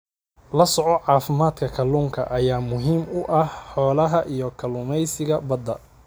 La socodka caafimaadka kalluunka ayaa muhiim u ah xoolaha iyo kalluumeysiga badda.